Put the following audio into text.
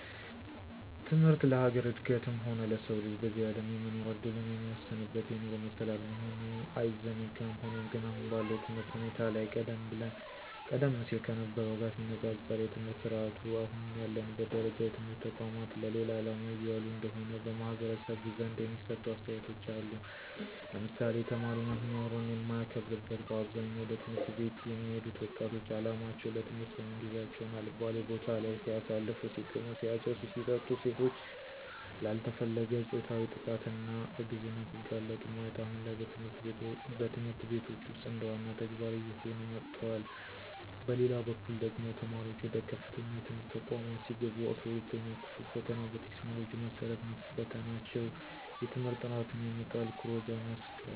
ትምህርት ለሀገር እድገትም ሆነ ለሰው ልጅ በዚህ አለም የመኖር እድሉን የሚወስንበት የኑሮ መሰላል መሆኑ አይዘነጋም። ሆኖም ግን አሁን ባለው የትምህርት ሁኔታ ላይ ቀደም ሲል ከነበርው ጋር ሲነፃፀር የትምህርት ስረአቱ አሁን ያለበት ደረጃ የትምህርት ተቋማት ለሌላ አላማ እየዋሉ እንደሆነ በማህበረሰቡ ዘንድ የሚሰጡ አስተያየቶች አሉ ለምሳሌ፦ ተማሪ መምህሩን የማያከብርበት በአብዛኛው ወደ ት/ቤት የሚሄዱት ወጣቶች አላማቸው ለትምህርት ሳይሆን ጊዚየቸውን አልባሌ ቦታለይ ሲያሳልፉ(ሲቅሙ፣ ሲያጨሱ፣ ሲጠጡ ሴቶች ላልተፈለገ ፆታዊ ጥቃትና እርግዝና ሲጋለጡ)ማየት አሁን ላይ በትምህርት ቤቶች ውስጥ እንደዋና ተግባር እየሆነ መጥቷል። በሌላበኩል ደግሞ ተማሪዋች ወደ ከፍተኛ የትምህርት ተቋማት ሲገቡ 12ኛ ክፍል ፈተና በቴክኖሎጂው መሰረት መፈተናቸው የትምህርት ጥራትን ያመጣል ኩረጃን ያስቀራል።